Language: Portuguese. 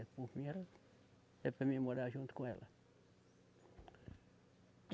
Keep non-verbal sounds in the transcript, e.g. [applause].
[unintelligible] É para mim morar junto com ela.